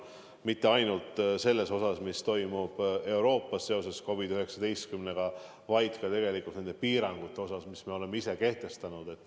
Ja mitte ainult selle tõttu, mis toimub mujal Euroopas seoses COVID-19-ga, vaid ka nende piirangute tõttu, mis me oleme ise kehtestanud.